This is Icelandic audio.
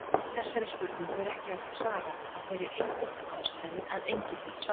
Þessari spurningu er ekki hægt að svara af þeirri einföldu ástæðu að enginn veit svarið.